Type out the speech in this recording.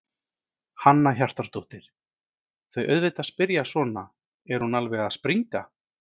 Hanna Hjartardóttir: Þau auðvitað spyrja svona, er hún alveg að springa?